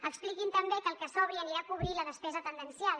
expliquin també que el que sobri anirà a cobrir la despesa tendencial